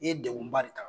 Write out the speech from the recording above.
I ye degun ba de ta